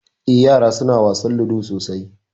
Eh ƴara suna wasan ludo sosai.